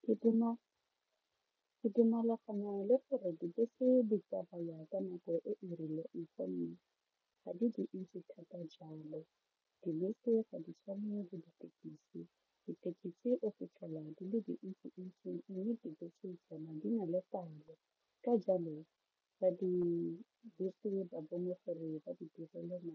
Ke le gore dibese di tsamaya ka nako e e rileng gonne ga di dintsi thata jalo, dibese ga di tshwane le ditekisi o fitlhela di le dintsintsi mme dibese tso tsona di na le palo ka jalo ba dibese ba bone gore ba direle